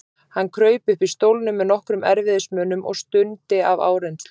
Hann kraup uppi í stólnum með nokkrum erfiðismunum og stundi af áreynslu.